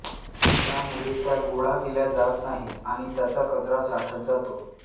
त्यामुळे त्या गोळा केल्या जात नाहीत आणि त्याचा कचरा साठत जातो